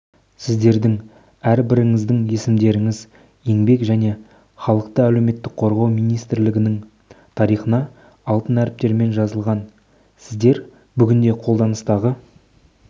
сіздердің әрбіріңіздің есімдеріңіз еңбек және халықты әлеуметтік қорғау министрлігінің тарихына алтын әріптермен жазылған сіздер бүгінде қолданыстағы